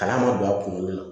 Kalan ma don a kunkolo la